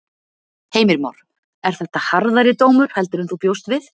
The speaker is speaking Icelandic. Heimir Már: Er þetta harðari dómur heldur en þú bjóst við?